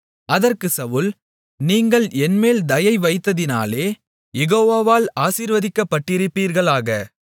அதற்கு சவுல் நீங்கள் என்மேல் தயை வைத்ததினாலே யெகோவாவால் ஆசீர்வதிக்கப்பட்டிருப்பீர்களாக